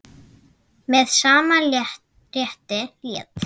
Með sama rétti lét